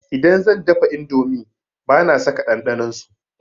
Idan zan dafa indomi bana saka ɗanɗanon su.